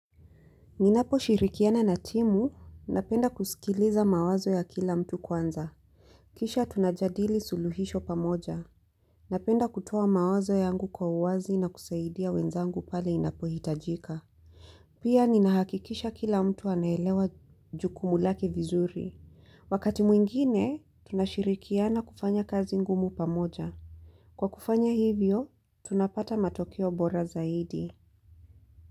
Ninapo shirikiana na timu, napenda kusikiliza mawazo ya kila mtu kwanza. Kisha tunajadili suluhisho pamoja. Napenda kutoa mawazo yangu kwa uwazi na kusaidia wenzangu pale inapohitajika. Pia ninahakikisha kila mtu anaelewa jukumu lake vizuri. Wakati mwingine, tunashirikiana kufanya kazi ngumu pamoja. Kwa kufanya hivyo, tunapata matokeo bora zaidi.